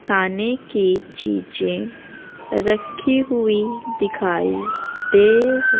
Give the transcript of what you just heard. खाने की चीजे रखी हुई दिखाई दे--